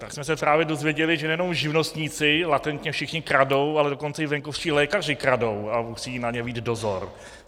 Tak jsme se právě dozvěděli, že nejenom živnostníci latentně všichni kradou, ale dokonce i venkovští lékaři kradou a musí na ně být dozor.